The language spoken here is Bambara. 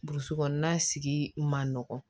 Burusi kɔnɔna sigi ma nɔgɔ